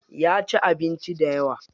Yaci abinci dayawa.